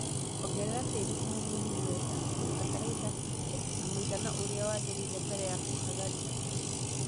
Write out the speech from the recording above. Ongerera tĩri thumu mũhinyu wega na batalaitha hetũkie na mũigana ũria wagĩrĩire mbele ya kũhagaria